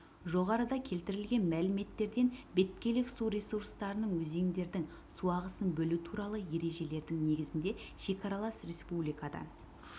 жоғарыда келтірілген мәліметтерден беткейлік су ресурстарының өзендердің су ағысын бөлу туралы ережелердің негізінде шекаралас республикадан